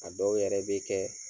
A dɔw yɛrɛ be kɛ